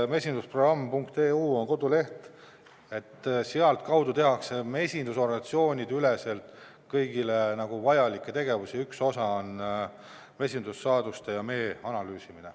Mesindusprogramm.eu on koduleht, mille kaudu tehakse mesindusorganisatsioonide üleselt kõigile vajalikke tegevusi, ja üks osa on mesindussaaduste ja mee analüüsimine.